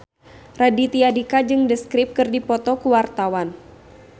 Raditya Dika jeung The Script keur dipoto ku wartawan